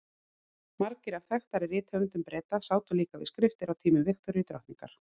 margir af þekktari rithöfundum breta sátu líka við skriftir á tímum viktoríu drottningar